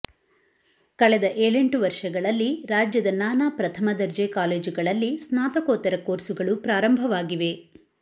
ಕಳೆದ ಏಳೆಂಟು ವರ್ಷಗಳಲ್ಲಿ ರಾಜ್ಯದ ನಾನಾ ಪ್ರಥಮ ದರ್ಜೆ ಕಾಲೇಜುಗಳಲ್ಲಿ ಸ್ನಾತಕೋತ್ತರ ಕೋರ್ಸುಗಳು ಪ್ರಾರಂಭವಾಗಿವೆ